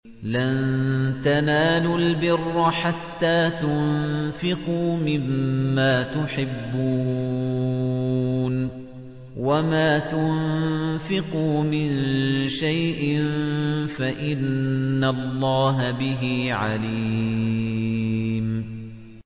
لَن تَنَالُوا الْبِرَّ حَتَّىٰ تُنفِقُوا مِمَّا تُحِبُّونَ ۚ وَمَا تُنفِقُوا مِن شَيْءٍ فَإِنَّ اللَّهَ بِهِ عَلِيمٌ